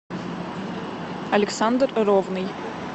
александр ровный